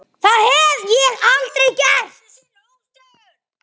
Það hef ég aldrei gert.